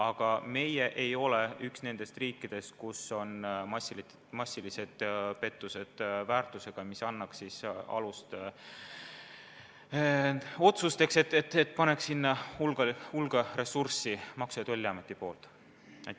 Aga meie ei ole üks nendest riikidest, kus kauba väärtuse osas on massilised pettused, mis annaks alust kulutada sellele suur hulk Maksu- ja Tolliameti ressurssi.